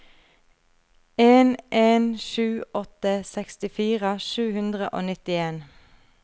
en en sju åtte sekstifire sju hundre og nittien